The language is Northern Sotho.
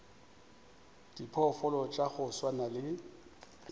diphoofolo tša go swana le